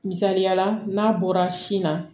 Misaliyala n'a bɔra sin na